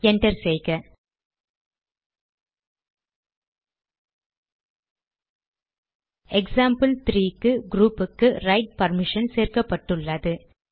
enter செய்க example க்கு க்ரூப்புக்கு ரைட் பர்மிஷன் சேர்க்கப்பட்டுள்ளது